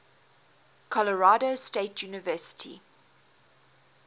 colorado state university